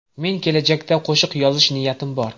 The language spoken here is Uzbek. Men kelajakda qo‘shiq yozish niyatim bor.